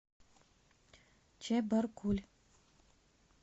чебаркуль